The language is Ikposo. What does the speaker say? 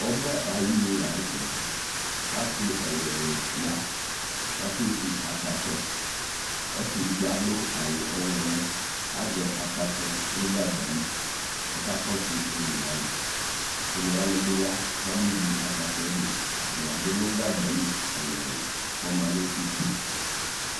Ɔbɛ de ayenu lantɛɛ Ase ɛluɛlu ya ko ake vu akpatsɔ Ɔse edigbo ado awu ɔwlɔmɔ ko azɛ akpatsɔ no gagba li ko ɔka kɔso onewa ne Onewa ne be ya ko abe vu akpatsɔ ɛde Atame ado no gagba li ɛluɛlu ko ɔma no uti